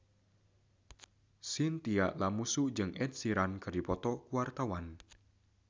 Chintya Lamusu jeung Ed Sheeran keur dipoto ku wartawan